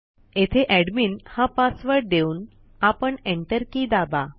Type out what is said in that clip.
येथे एडमिन हा पासवर्ड देऊन आपण एंटर की दाबा